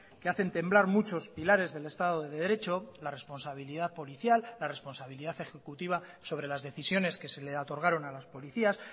que hacen temblar muchos pilares del estado de derecho la responsabilidad policial la responsabilidad ejecutiva sobre las decisiones que se le otorgaron a las policías